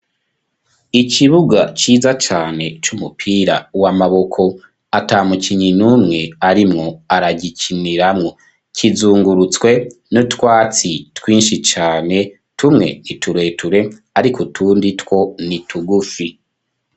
Ikibuga ciza cane c'umupira w'amaboko atamukinyi numwe arimwo aragikiniramwo kizungurutswe n'utwatsi twinshi cane tumwe nitureture ariko utundi two nitugufi.